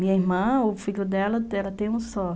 Minha irmã, o filho dela, ela tem um só,